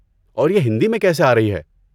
اور یہ ہندی میں کیسے آرہی ہے؟